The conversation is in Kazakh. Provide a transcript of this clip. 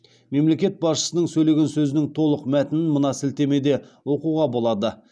мемлекет басшысының сөйлеген сөзінің толық мәтінін мына сілтемеде оқуға болады